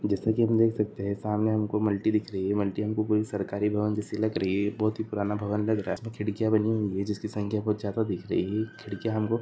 जैसे की हम देख सकते है। सामने हमको मल्टी दिख रही है। मल्टी हमको कोई सरकारी भवन जैसी लग रही है। बहुत ही पुराणा भवन लग रहा है। खिड़किया बानी हुई है। जिसकी संख्या कुछ ज्यादा दिख रही है। खिड़किया हमको --